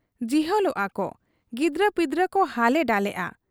ᱡᱤᱦᱚᱞᱚᱜ ᱟ ᱠᱚ ᱾ ᱜᱤᱫᱟᱹᱨᱯᱤᱫᱟᱹᱨ ᱠᱚ ᱦᱟᱞᱮ ᱰᱟᱞᱮᱜ ᱟ ᱾